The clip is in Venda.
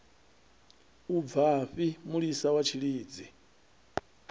u bvafhi mulisa wa tshilidzi